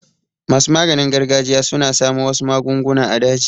Masu maganin gargajiya suna samo wasu magunguna a daji.